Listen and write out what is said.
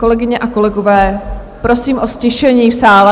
Kolegyně a kolegové, prosím o ztišení v sále.